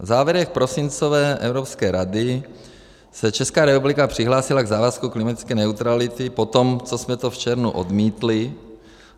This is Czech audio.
V závěrech prosincové Evropské rady se Česká republika přihlásila k závazku klimatické neutrality potom, co jsme to v červnu odmítli.